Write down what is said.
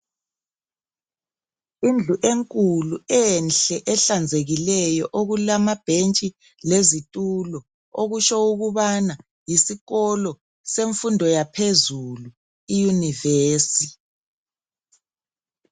Indlu enkulu enhle ehlanzekileyo okulamabhentshi lezitulo, okusho ukubana yisikolo semfundo yaphezulu iyunivesi.